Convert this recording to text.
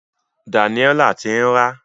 Daniella ti ń rá.